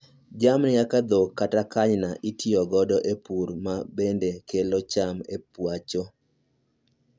Jamni kaka dhok kata kanyna itiyo godo e pur ma bende kelo cham e pacho